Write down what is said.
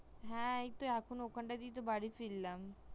হ্যা এখন ওখানটা দিয়েই বাড়ি ফিরলাম